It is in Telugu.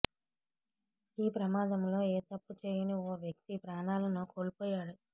ఈ ప్రమాదంలో ఏ తప్పు చేయని ఓ వ్యక్తి ప్రాణాలను కోల్పోయాడు